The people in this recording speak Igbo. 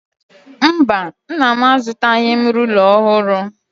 Mba, Nna m azụtaghị m rula ọhụrụ.